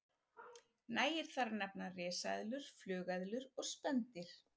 Nægir þar að nefna risaeðlur, flugeðlur og spendýr.